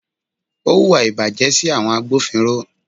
Ó hùwà ìbàjẹ́ sí àwọn agbófinró.